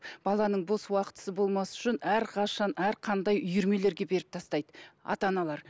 баланың бос уақытысы болмас үшін әрқашан әрқандай үйірмелерге беріп тастайды ата аналар